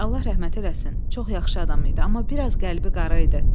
Allah rəhmət eləsin, çox yaxşı adam idi, amma biraz qəlbi qara idi.